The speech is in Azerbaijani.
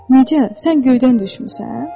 Necə, sən göydən düşmüsən?